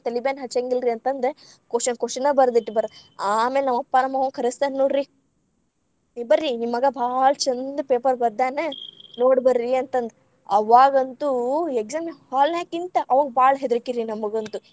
ತಲಿಬ್ಯಾನಿ ಹಚ್ಚಂಗಿಲರ್ರಿ ಅಂತ ಅಂದ ‌ question question ಬರದಿಟ್ಟ ಬರೋದ್ ಆಮೇಲ್‌ ನಮ್ಮಪ್ಪಾ ನಮ್ಮ ಅವ್ವಂಗ್‌ ಕರಸ್ತಾರ್‌ ನೋಡ್ರಿ ಬರ್ರೀ ನಿಮ್ಮಗಾ ಭಾಳ ಛಂದ paper ಬರ್ದಾನ ನೋಡ್‌ ಬರ್ರೀ ಅಂತಂದ್ ಅವಾಗಂತು exam hall ನ್ಯಾಕಿಂತ ಅವಾಗ್‌ ಭಾಳ್‌ ಹೆದರ್ಕಿರಿ ನಮಗಂತು.